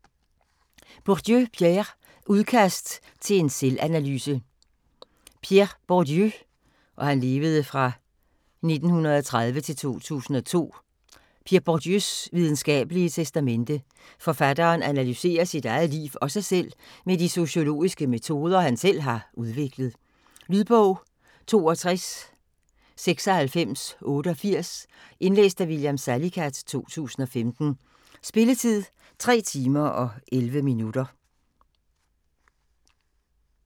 Bourdieu, Pierre: Udkast til en selvanalyse Pierre Bourdieus (1930-2002) videnskabelige testamente. Forfatteren analyserer sit eget liv og sig selv med de sociologiske metoder, han selv har udviklet. Lydbog 629688 Indlæst af William Salicath, 2015. Spilletid: 3 timer, 11 minutter.